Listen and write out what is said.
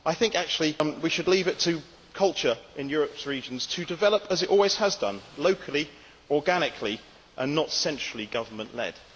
I think we should leave it to culture in Europe's regions to develop as it always has done locally, organically, and not centrally government led.